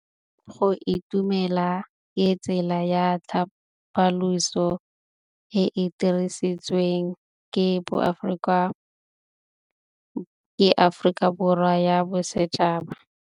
Go itumela ke tsela ya tlhapolisô e e dirisitsweng ke Aforika Borwa ya Bosetšhaba.